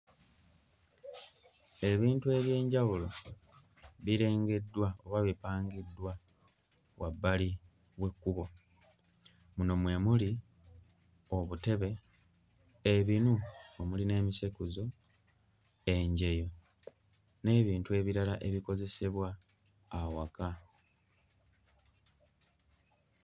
Ebintu eby'enjawulo birengeddwa oba bipangiddwa wabbali w'ekkubo muno mwe muli obutebe, ebinu omuli n'emisekuzo, enjeyo n'ebintu ebirala ebikozesebwa awaka.